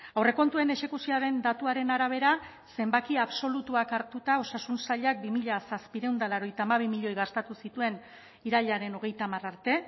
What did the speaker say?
aurrekontuen exekuzioaren datuaren arabera zenbaki absolutuak hartuta osasun sailak bi mila zazpiehun eta laurogeita hamabi milioi gastatu zituen irailaren hogeita hamar arte